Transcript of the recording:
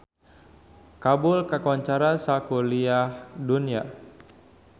Kabul kakoncara sakuliah dunya